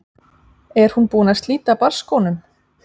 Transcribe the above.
Er hún búin að slíta barnsskónum?